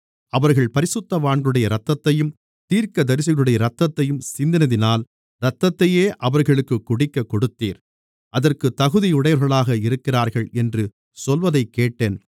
அவர்கள் பரிசுத்தவான்களுடைய இரத்தத்தையும் தீர்க்கதரிசிகளுடைய இரத்தத்தையும் சிந்தினதினால் இரத்தத்தையே அவர்களுக்குக் குடிக்கக்கொடுத்தீர் அதற்குத் தகுதியுடையவர்களாக இருக்கிறார்கள் என்று சொல்வதைக்கேட்டேன்